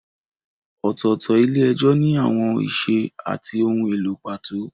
Ọ̀tọ̀ọ̀tọ̀ ilé-ẹjọ́ ní àwọn ìṣe àti ohun èlò pàtó.